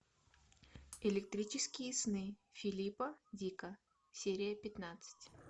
электрические сны филипа дика серия пятнадцать